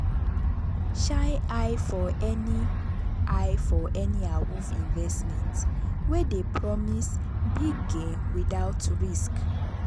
shine eye for any eye for any awoof investment wey dey promise big gain without risk.